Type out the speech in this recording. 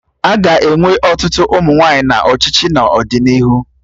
Aga enwe ọtụtụ ụmụ nwaanyị na ọchịchị n'ọdịnihu